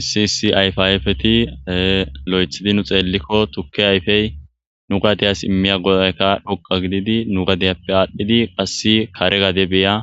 Issiisi ayfe ayfeti lo7ethidi nu xeellikko tukke ayfey nu gadeyas immiya godayka dhoqa gididi nu gadeyappe aadhdhidi passi kare gade beya